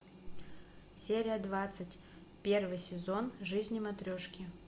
серия двадцать первый сезон жизнь матрешки